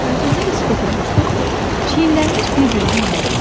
Faytonda elə sıx oturmuşduq ki, çiyinlərimiz bir-birindən ayrılmırdı.